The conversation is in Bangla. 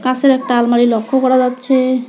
পাশের একটা আলমারি লক্ষ্য করা যাচ্ছে।